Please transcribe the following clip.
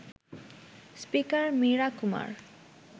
speaker Meira Kumar